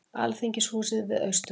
Alþingishúsið við Austurvöll.